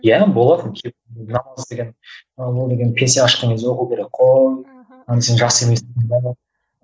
иә намаз деген ол деген пенсияға шыққан кезде оқу керек қой сен жас емессің бе